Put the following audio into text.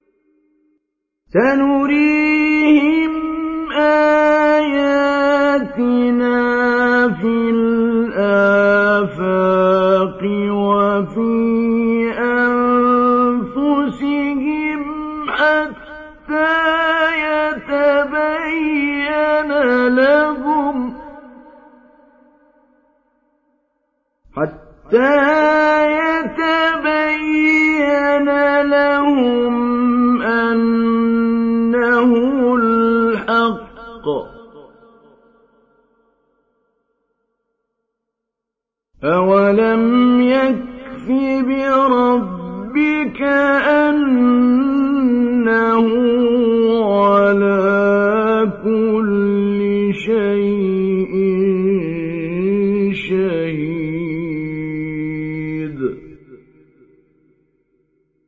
سَنُرِيهِمْ آيَاتِنَا فِي الْآفَاقِ وَفِي أَنفُسِهِمْ حَتَّىٰ يَتَبَيَّنَ لَهُمْ أَنَّهُ الْحَقُّ ۗ أَوَلَمْ يَكْفِ بِرَبِّكَ أَنَّهُ عَلَىٰ كُلِّ شَيْءٍ شَهِيدٌ